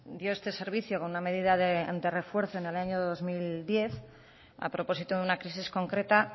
dio este servicio como una medida de refuerzo en el año dos mil diez a propósito de una crisis concreta